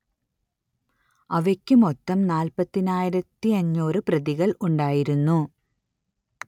അവയ്ക്ക് മൊത്തം നാല്പത്തിയായിരത്തിയഞ്ഞൂറ് പ്രതികൾ ഉണ്ടായിരുന്നു